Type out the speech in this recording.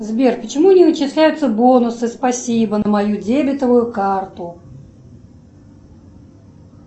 сбер почему не начисляются бонусы спасибо на мою дебетовую карту